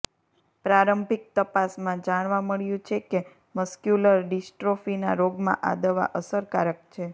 પ્રારંભિક તપાસમાં જાણવા મળ્યું છે કે મસ્ક્યુલર ડિસ્ટ્રોફીના રોગમાં આ દવા અસરકારક છે